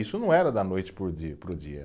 Isso não era da noite para o dia, para o dia